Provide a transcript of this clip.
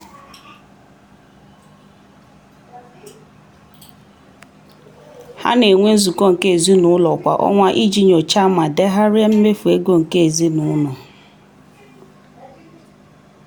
ha na-enwe nzukọ nke ezinụụlọ kwa ọnwa iji nyochaa ma degharịa mmefu ego nke ezinụụlọ.